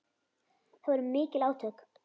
Það voru mikil átök.